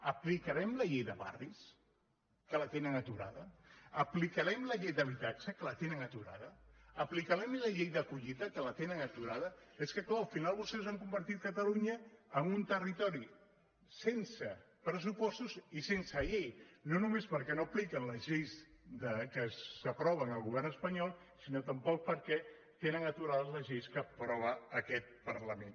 aplicarem la llei de barris que la tenen aturada aplicarem la llei d’habitatge que la tenen aturada aplicarem la llei d’a collida que la tenen aturada és que clar al final vostès han convertit catalunya en un territori sense pressupostos i sense llei no només perquè no apliquen les lleis que s’aproven al govern espanyol sinó també perquè tenen aturades les lleis que aprova aquest parlament